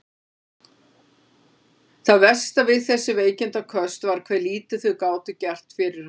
Það versta við þessi veikindaköst var hve lítið þau gátu gert fyrir hana.